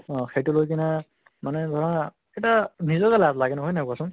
অʼ সেইটো লৈ কিনে মানে ধৰা এটা নিজকে লাজ লাগে ন হয় নে নহয় কোৱাচোন?